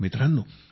मित्रांनो